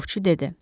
Ovçu dedi.